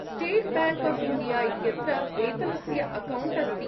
State Bank of India इत्यत्र वेतनस्य account अस्ति।